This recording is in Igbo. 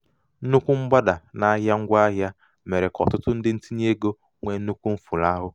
nnukwu mgbada n'ahịa ngwaahịa mere ka ọtụtụ ndị ntinyeego nwee nnukwu mfulahụ. nwee nnukwu mfulahụ.